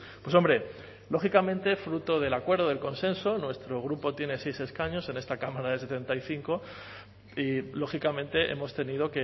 pues hombre lógicamente fruto del acuerdo del consenso nuestro grupo tiene seis escaños en esta cámara de setenta y cinco y lógicamente hemos tenido